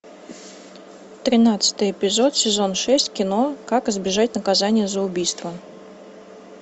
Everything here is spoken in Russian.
тринадцатый эпизод сезон шесть кино как избежать наказания за убийство